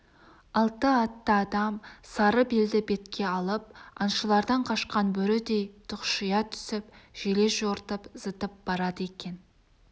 алты атты адам сары белді бетке алып аңшылардан қашқан бөрідей тұқшия түсіп желе-жортып зытып барады екен